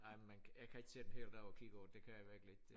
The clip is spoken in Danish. Nej man jeg kan ikke sidde en hel dag og kigge på det det kan jeg virkelig ikke det